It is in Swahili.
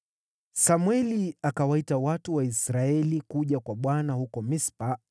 Samweli akawaita watu wa Israeli kuja kwa Bwana huko Mispa,